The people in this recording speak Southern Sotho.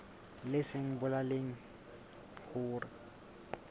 leng se bolelang hore ho